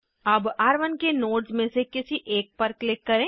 अब र1 के नोड्स में से किसी एक पर क्लिक करें